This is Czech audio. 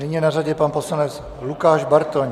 Nyní je na řadě pan poslanec Lukáš Bartoň.